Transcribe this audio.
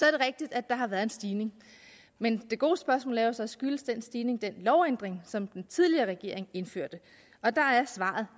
rigtigt at der har været en stigning men det gode spørgsmål er så skyldes den stigning den lovændring som den tidligere regering indførte og der er svaret